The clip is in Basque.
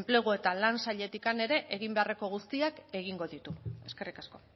enplegu eta lan sailetik ere egin beharreko guztiak egingo ditu eskerrik asko